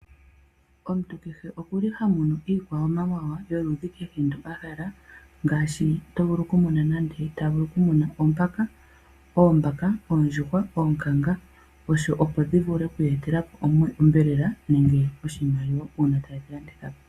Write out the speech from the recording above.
Omuntu kehe okuli ha munu iikwamawawa yoludhi kehe ndo ahala. Ngaashi oto vulu okumuna nande ta vulu oku muna oombaka, oondjuhwa, oonkanga. Opo dhivule oku eta po onyama nenge oshimaliwa uuna tayedhi landithapo.